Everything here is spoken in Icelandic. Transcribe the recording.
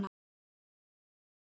Það var mikil sorg.